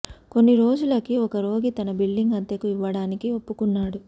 కొన్ని రోజులకి ఒక రోగి తన బిల్డింగ్ అద్దెకు ఇవ్వడానికి ఒప్పుకున్నాడు